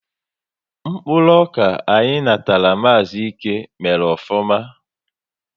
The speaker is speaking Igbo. Mkpụrụ ọka anyị natara Maazi Íke mèrè ofụma